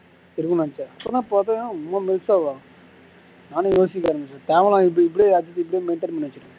இப்போதான் பாத்தேன் இவ்வளோ melt ஆவ நானும் யோசிக்க ஆரம்பிச்சுட்டேன் தேவலாம் இப்படி இப்படி அப்படியே maintain பண்ணி வச்சுக்கோ